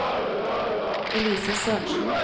Elise Sørensen